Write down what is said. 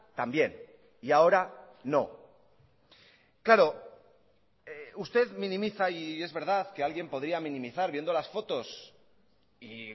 también y ahora no claro usted minimiza y es verdad que alguien podría minimizar viendo las fotos y